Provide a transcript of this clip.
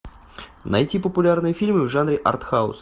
найти популярные фильмы в жанре арт хаус